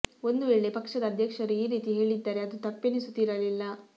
ಒಂದು ವೇಳೆ ಪಕ್ಷದ ಅಧ್ಯಕ್ಷರು ಈ ರೀತಿ ಹೇಳಿದ್ದರೆ ಅದು ತಪ್ಪೆನಿಸುತ್ತಿರಲಿಲ್ಲ